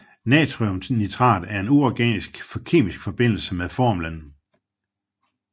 Natriumnitrat er en uorganisk kemisk forbindelse med formlen